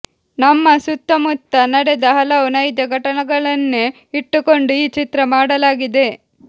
ನಮ್ಮ ಸುತ್ತ ಮುತ್ತ ನಡೆದ ಹಲವು ನೈಜ ಘಟನೆಗಳನ್ನೇ ಇಟ್ಟುಕೊಂಡು ಈ ಚಿತ್ರ ಮಾಡಲಾಗಿದೆ